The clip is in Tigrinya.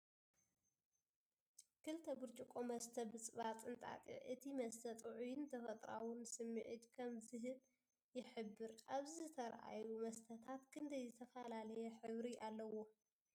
ክልተ ብርጭቆ መስተ ብፅባፅ እንጣጢዕ፡ እቲ መስተ ጥዑይን ተፈጥሮኣውን ስምዒት ከም ዝህብ ይሕብር። ኣብዚ ዝተርኣዩ መስተታት ክንደይ ዝተፈላለየ ሕብሪ ኣለዎም?